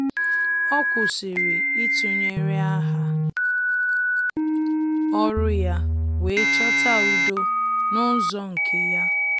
Ọ́ kwụ́sị̀rị̀ ítụ́nyéré áhá ọ́rụ́ ya wee chọ́tá udo n’ụ́zọ́ nke ya.